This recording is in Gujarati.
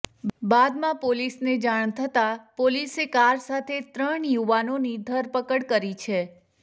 બાદમાં પોલીસને જાણ થતાં પોલીસે કાર સાથે ત્રણ યુવાનોની ધરપકડ કરી છે